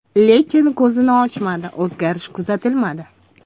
Lekin ko‘zini ochmadi, o‘zgarish kuzatilmadi.